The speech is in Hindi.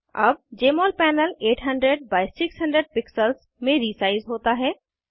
अब जमोल पैनल 800 बाइ 600 पिक्सेल्स में रीसाइज़ होता है